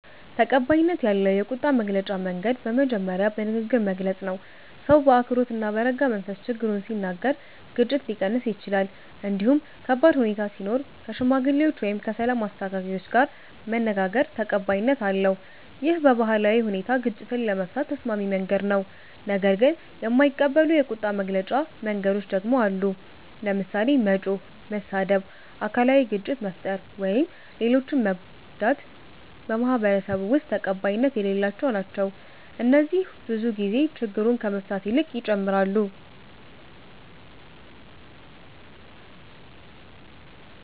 ተቀባይነት ያለው የቁጣ መግለጫ መንገድ በመጀመሪያ በንግግር መግለጽ ነው። ሰው በአክብሮት እና በረጋ መንፈስ ችግሩን ሲናገር ግጭት ሊቀንስ ይችላል። እንዲሁም ከባድ ሁኔታ ሲኖር ከሽማግሌዎች ወይም ከሰላም አስተካካዮች ጋር መነጋገር ተቀባይነት አለው። ይህ በባህላዊ ሁኔታ ግጭትን ለመፍታት ተስማሚ መንገድ ነው። ነገር ግን የማይቀበሉ የቁጣ መግለጫ መንገዶች ደግሞ አሉ። ለምሳሌ መጮህ፣ መሳደብ፣ አካላዊ ግጭት መፍጠር ወይም ሌሎችን መጎዳት በማህበረሰቡ ውስጥ ተቀባይነት የሌላቸው ናቸው። እነዚህ ብዙ ጊዜ ችግሩን ከመፍታት ይልቅ ይጨምራሉ